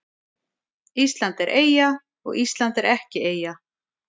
Ísland er eyja og Ísland er ekki eyja